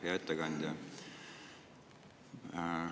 Hea ettekandja!